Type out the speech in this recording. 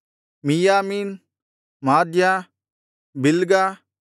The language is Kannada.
ಮಿಯ್ಯಾಮೀನ್ ಮಾದ್ಯ ಬಿಲ್ಗ